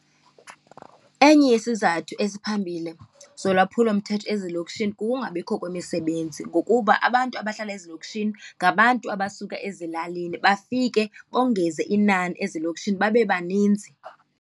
Enye yesizathu esiphambili zolwaphulomthetho ezilokishini kukungabikho kwemisebenzi, ngokuba abantu abahlala ezilokishini ngabantu abasuka ezilalini, bafike bongeze inani ezilokishini babe baninzi.